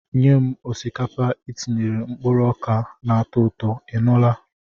Nye m osikapa etinyere mkpụrụ oka na-atọ ụtọ, ị nụla?